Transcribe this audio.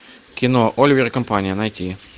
кино оливер и компания найти